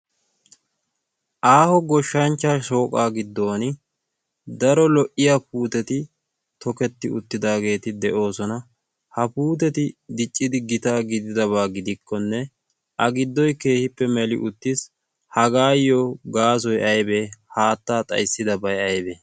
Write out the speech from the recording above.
aaho goshshanchcha shooqaa giddon daro lo'iya puuteti toketti uttidaageeti de'oosona. ha puuteti diccidi gitaa gididabaa gidikkonne a giddoy keehippe meli uttiis. hagaayyo gaasoy aybee haattaa xaissidabay aybee?